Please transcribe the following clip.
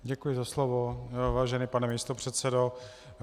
Děkuji za slovo, vážený pane místopředsedo.